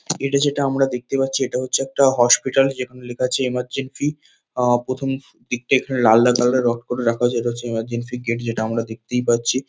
এটা যেটা আমরা দেখতে পাচ্ছি এটা হচ্ছে একটা হসপিটাল যেখানে লেখা আছে ইমার্জেন্সি । আহ প্রথম দিকটা এখানে লালদা কালার -এর রং করে রাখা আছে এটা ইমারজেন্সি গেট যেটা আমরা দেখতেই পাচ্ছি।